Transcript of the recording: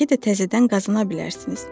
Bəlkə də təzədən qazana bilərsiniz.